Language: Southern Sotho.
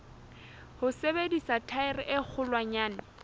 ho sebedisa thaere e kgolwanyane